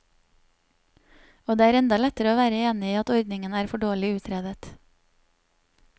Og det er enda lettere å være enig i at ordningen er for dårlig utredet.